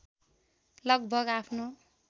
लगभग आफ्नो